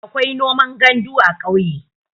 akwai noman gandu a ƙauye